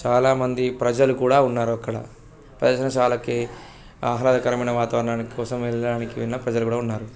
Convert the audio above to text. చాలా మంది ప్రజలు కూడా ఉన్నారు అక్కడ. ప్రదర్శనశాలకి ఆహ్లాదకరమైన వాతావరణానికి కోసం వెళ్ళడానికి ప్రజలు కూడా ఉన్నారు.